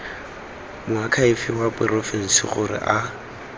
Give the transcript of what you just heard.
moakhaefe wa porofense gore a